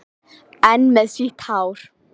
Enn með sítt hár.